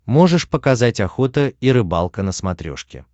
можешь показать охота и рыбалка на смотрешке